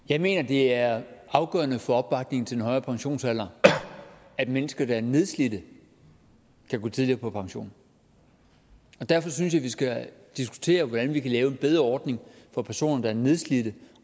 jeg mener det er afgørende for opbakningen til en højere pensionsalder at mennesker der er nedslidte kan gå tidligere på pension og derfor synes jeg vi skal diskutere hvordan vi kan lave en bedre ordning for personer der er nedslidte